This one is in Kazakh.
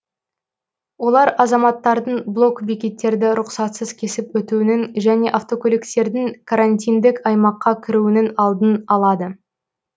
олар азаматтардың блок бекеттерді рұқсатсыз кесіп өтуінің және автокөліктердің карантиндік аймаққа кіруінің алдын алады